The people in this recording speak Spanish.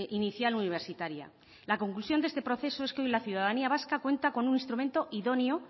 inicial universitaria la conclusión de este proceso es que hoy la ciudadanía vasca cuenta con un instrumento idóneo